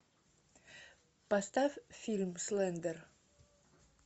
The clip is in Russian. поставь фильм слендер